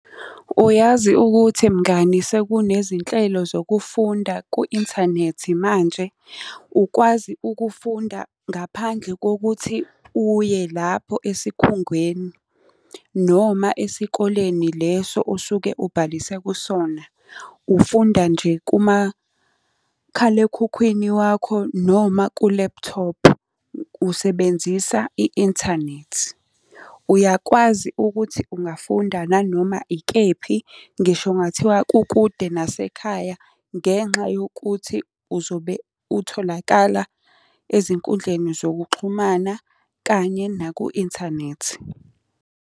Uyazi ukuthi mngani sekunezinhlelo zokufunda ku-inthanethi manje? Ukwazi ukufunda ngaphandle kokuthi uye lapho esikhungweni noma esikoleni leso osuke ubhalise kusona. Ufunda nje kumakhalekhukhwini wakho noma kulephuthophu, usebenzisa i-inthanethi. Uyakwazi ukuthi ungafunda nanoma ikephi, ngisho kungathiwa kukude nasekhaya ngenxa yokuthi uzobe utholakala ezinkundleni zokuxhumana kanye naku-inthanethi.